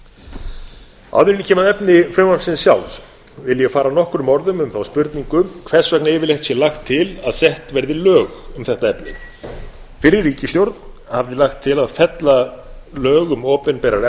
ég kem að efni frumvarpsins sjálfs vil ég fara nokkrum orðum um þá spurningu hvers vegna yfirleitt sé lagt til að sett verði lög um þetta efni fyrri ríkisstjórn hafði lagt til að fella lög um opinberar